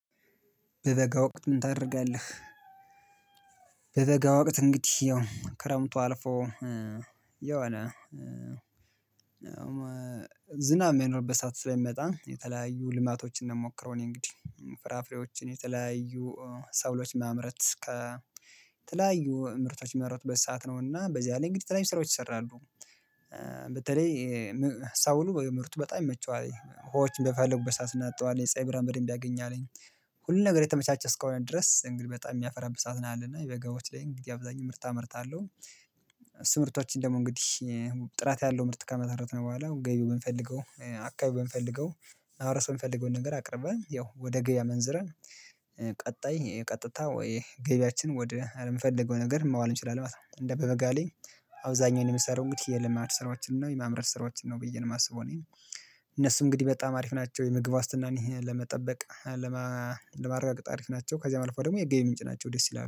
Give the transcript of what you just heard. በበጋ ወቅት ምን ታደርጋለህ? በበጋ ወቅት እንግዲህ ያው ክረምቱ አልፎ የሆነ ዝናብ የሚኖርበት ሰዓት ስለሚመጣ የተለያዩ ልማቶችን እንደምሞክረው እኔ እንግዲህ ፍራፍሬዎችን የተለያዩ ሰብሎች ላይ ማምረት ከተለያዩ ምርቶች የሚመረቱበት ሰዓት ነው እና በዚህ አለኝ እንግዲህ ተለይ ስራዎች ይሰራሉ በተለይ ሰብሉ የምርቱ በጣም ይመቸዋልኝ ዉሀዎች በፈለጉበት እናጠጣዋለን የፀይ ብርሃን በደንብ ያገኛልኝ ሁሉን ነገር የተመቻቸ እስከሆነ ድረስ እንግዲህ በጣም የሚያፈራብት ነው ያለና የበጋዎች ላይ እንግዲህ አብዛኛው ምርት አመርታለሁ። ምርቶችን ደግሞ እንግዲህ ጥራት ያለው ምርት ካመረትን በኋላ ገቢው ብንፈልገው አካባቢ ብንፈልገው ማሀበረሰብ የሚፈልገውን ነገር አቅርባን ያው ወደ ገበያ መንዝረን። ቀጣይ ቀጥታ ወይ ገበያችን ወደ እምነፈልገው ነገር ማዋል እንችላለን ማለት ነው። እንደ በበጋ ላይ አብዛኛው የምሰራው እንግዲህ የልማት ስራዎችን ነው የማምረት ስራዎችን ነው ብዬ ነው የማስበው። እኔ እነሱ እንግዲህ በጣም አሪፍ ናቸው የምግብ ዋስትናን ለመጠበቅ ለማረጋገጥ አሪፍ ናቸው። ከዚያ አልፈወ ደግሞ የገቢ ምንጭ ናቸው ደስ ይላሉ